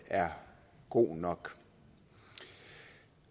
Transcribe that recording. er god nok